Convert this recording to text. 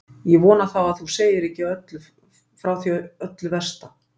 Ég vona þá að þú segir ekki frá öllu því versta.